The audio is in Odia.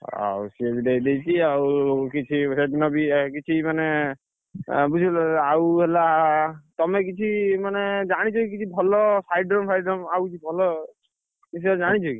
ଆଉ ସିଏ ବି ଦେଇଦେଇଛି, ଆଉ କିଛି ସେଦିନ ବି କିଛି ମାନେ, ବୁଝିଲ, ଆଉ ହେଲା ତମେ କିଛି ମାନେ ଜାଣିଛ କି? ଭଲ ଆଉ କିଛି ଭଲ ବିଷୟରେ ଜାଣିଛ କି?